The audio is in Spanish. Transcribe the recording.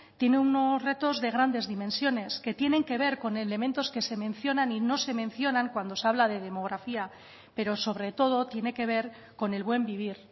tiene unos retos de grandes dimensiones que tienen que ver con elementos que se mencionan y no se mencionan cuando se habla de demografía pero sobre todo tiene que ver con el buen vivir